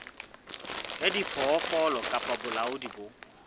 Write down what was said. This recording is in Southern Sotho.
wa diphoofolo kapa bolaodi bo